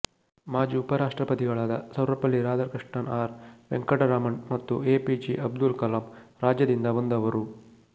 ಮಾಜಿ ಉಪರಾಷ್ಟ್ರಪತಿಗಳಾದ ಸರ್ವೆಪಲ್ಲಿ ರಾಧಾಕೃಷ್ಣನ್ ಆರ್ ವೆಂಕಟರಾಮನ್ ಮತ್ತು ಎಪಿಜೆ ಅಬ್ದುಲ್ ಕಲಾಂ ರಾಜ್ಯದಿಂದ ಬಂದವರು